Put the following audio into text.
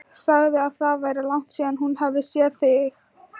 Sagði að það væri langt síðan hún hefði séð þig.